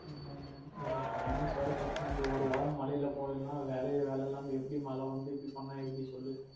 அஹ் எனக்கு finals வேற கட்டனும் இந்த ஒரு வாரம் மலையில போயிறலாம் வேலையு வேல இல்லாம எப்டி மழ வந்து இப்டி பண்ண எப்டி சொல்லு